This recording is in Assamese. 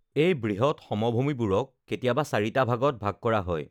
এই বৃহৎ সমভূমিবোৰক কেতিয়াবা চাৰিটা ভাগত ভাগ কৰা হয়: